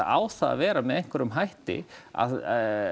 á það að vera með einhverjum hætti að